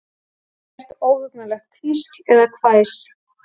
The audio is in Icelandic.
Ekkert óhugnanlegt hvísl eða hvæs.